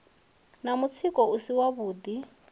na mutsiko u si wavhuḓi